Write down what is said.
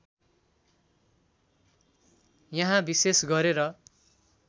यहाँ विशेष गरेर